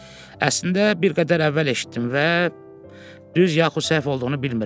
Əslində bir qədər əvvəl eşitdim və düz yaxud səhv olduğunu bilmirəm.